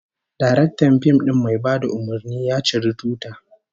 Daraktan fim din mai bada umurni, ya ciri tuta